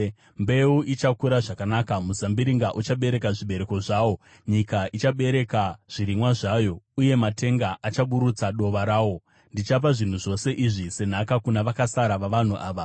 “Mbeu ichakura zvakanaka, muzambiringa uchabereka zvibereko zvawo, nyika ichabereka zvirimwa zvayo, uye matenga achaburutsa dova rawo. Ndichapa zvinhu zvose izvi senhaka kuna vakasara vavanhu ava.